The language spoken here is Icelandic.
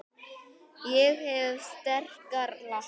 Ég hef sterkar lappir.